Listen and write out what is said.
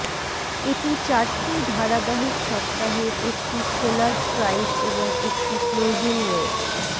এটি চারটি ধারাবাহিক সপ্তাহের একটি খোলার স্ট্রাইক এবং একটি ক্লোজিং ওয়েব